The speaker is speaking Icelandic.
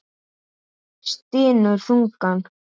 Stynur þungan.